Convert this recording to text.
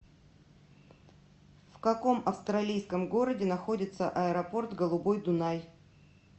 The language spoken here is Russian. в каком австралийском городе находится аэропорт голубой дунай